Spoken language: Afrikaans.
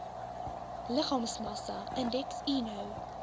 liggaamsmassa indeks eno